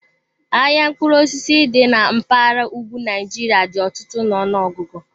Ahịa mkpụrụ osisi dị na mpaghara ugwu Nigeria dị ọtụtụ n'ọnụọgụ.